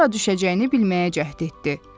Sonra hara düşəcəyini bilməyə cəhd etdi.